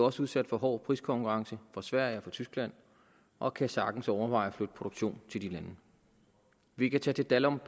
også udsat for hård priskonkurrence fra sverige og fra tyskland og kan sagtens overveje at flytte produktion til de lande vi kan tage til dalum